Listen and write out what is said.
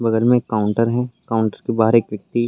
बगल में एक काउंटर है काउंटर के बाहर एक व्यक्ति --